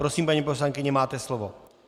Prosím, paní poslankyně, máte slovo.